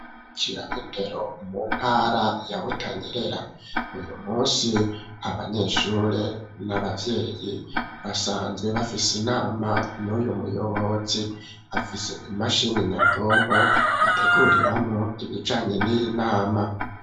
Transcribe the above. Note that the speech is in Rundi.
Bukira indero mu ntara ya butanyerera, uyu munsi ,abanyeshuri, n'ababyeyi ,basanzwe bafise inama n'uyu muyobozi ,afise imashini nyabwonko ,ateguriramwo ibijanye n'inama.